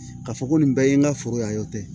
Ka fɔ ko nin bɛɛ ye n ka foro yan o tɛ